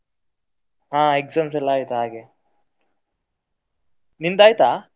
ಹಾ exams ಎಲ್ಲಾ ಆಯ್ತು ಹಾಗೆ ನಿಂದ್ ಆಯ್ತಾ?